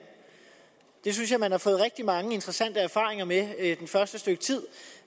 det synes jeg man har fået rigtig mange interessante erfaringer med det første stykke tid